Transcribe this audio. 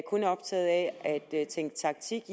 er optaget af at tænke taktik